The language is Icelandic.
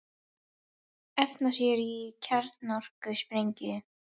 Efna sér í kjarnorkusprengju